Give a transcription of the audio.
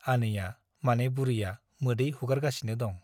आनैया माने बुरैया मोदै हुगारगासिनो दं ।